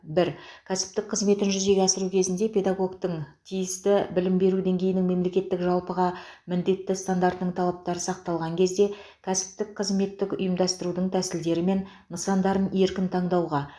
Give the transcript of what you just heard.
бір кәсіптік қызметін жүзеге асыру кезінде педагогтің тиісті білім беру деңгейінің мемлекеттік жалпыға міндетті стандартының талаптары сақталған кезде кәсіптік қызметтік ұйымдастырудың тәсілдері мен нысандарын еркін таңдауға